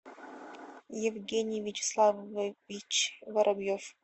евгений вячеславович воробьев